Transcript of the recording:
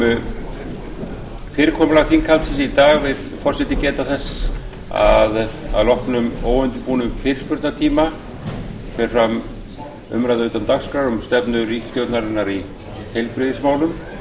um fyrirkomulag þinghaldsins í dag vill forseti geta þess að að loknum óundirbúnum fyrirspurnatíma fer fram umræða utan dagskrár um stefnu ríkisstjórnarinnar í heilbrigðismálum